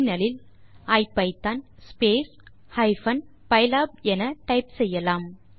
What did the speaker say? முனையத்தில் ஐபிதான் ஹைபன் பைலாப் என டைப் செய்யலாம்